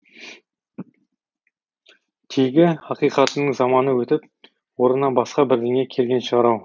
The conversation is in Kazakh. тегі ақиқаттың заманы өтіп орнына басқа бірдеңе келген шығар ау